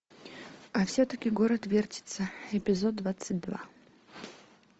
а все таки город вертится эпизод двадцать два